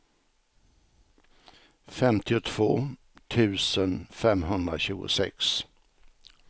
femtiotvå tusen femhundratjugosex